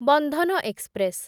Bandhan express